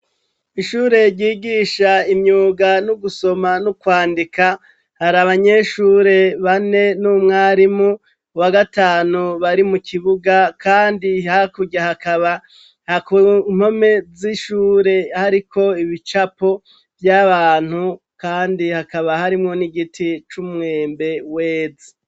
Ishure ryigisha imyuga no gusoma no kwandika, hari abanyeshure bane n'umwarimu wa gatanu bari mu kibuga kandi hakurya hakaba ku mpome z'ishure hariko ibicapo by'abantu kandi hakaba harimwo n'igiti c'umwembe weze.